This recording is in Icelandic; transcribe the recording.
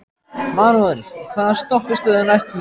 Manuel, hvaða stoppistöð er næst mér?